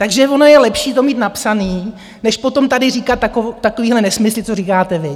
Takže ono je lepší to mít napsané, než potom tady říkat takovéhle nesmysly, co říkáte vy!